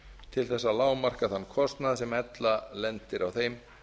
til að lágmarka þann kostnað sem ella lendir á þeim